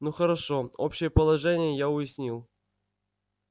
ну хорошо общее положение я уяснил